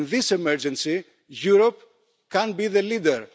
And in this emergency, Europe can be the leader.